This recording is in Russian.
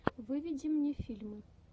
выведи мне фильмы